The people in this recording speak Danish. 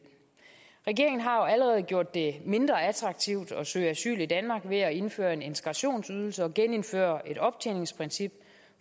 regeringen har jo allerede gjort det mindre attraktivt at søge asyl i danmark ved at indføre en integrationsydelse og genindføre et optjeningsprincip